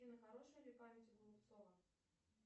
афина хорошая ли память у голубцова